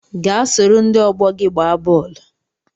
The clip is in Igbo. Gaa soro ndị ọgbọ gị gbaa bọọlụ